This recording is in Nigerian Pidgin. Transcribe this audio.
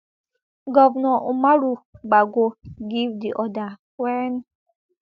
govnor umaru bago give di order wen